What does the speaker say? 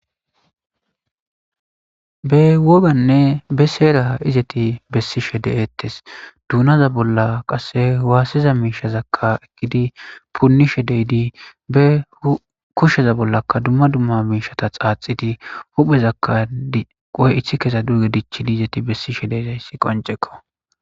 be woganne be seeraha izeti bessishe de7ettes dunaza bolla qasse waassiza miishazakka ekkidi punnishe deyidi be kushsheza bollaka dumma dumma miishata xaaxidi huphezakka diqoy ithi kesa durge dichidi izeti bessi she deydayssi qoncekko